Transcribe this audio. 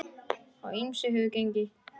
Á ýmsu hefur gengið.